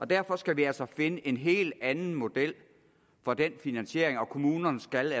derfor skal vi altså finde en helt anden model for den finansiering og kommunerne skal